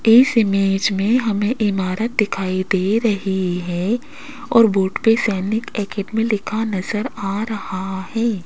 इस इमेज में हमें इमारत दिखाई दे रही है और बोर्ड पे सैनिक एकेडमी लिखा नजर आ रहा है।